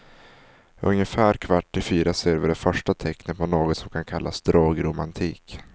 Ungefär kvart i fyra ser vi det första tecknet på något som kan kallas drogromantik.